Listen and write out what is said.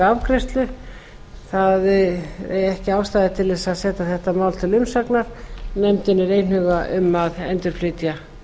afgreiðslu það sé ekki ástæða til að senda þetta mál til umsagnar nefndin er einhuga um að flytja